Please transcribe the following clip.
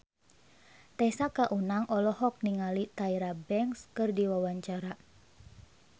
Tessa Kaunang olohok ningali Tyra Banks keur diwawancara